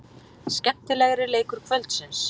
Skemmtilegri leikur kvöldsins.